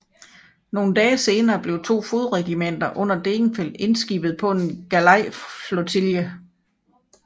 Nogen dage senere blev to fodregimenter under Degenfeld indskibede på en galejflotilje